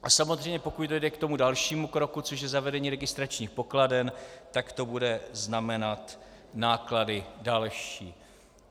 A samozřejmě pokud dojde k tomu dalšímu kroku, což je zavedení registračních pokladen, tak to bude znamenat náklady další.